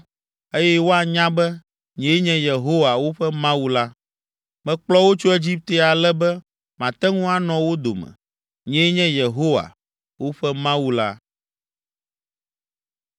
eye woanya be, nyee nye Yehowa, woƒe Mawu la. Mekplɔ wo tso Egipte ale be mate ŋu anɔ wo dome. Nyee nye Yehowa, woƒe Mawu la.”